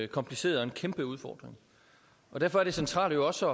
kompliceret og en kæmpe udfordring og derfor er det centrale jo også